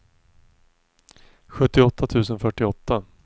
sjuttioåtta tusen fyrtioåtta